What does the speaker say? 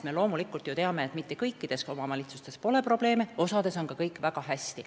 Me loomulikult teame, et kõikides omavalitsustes pole probleeme, osas on kõik väga hästi.